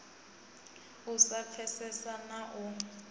u sa pfesesana na u